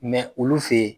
olu fe yen